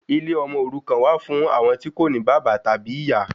Ilé ọmọ òrukan wà fún àwọn tí kò ní bàbá tàbí ìyá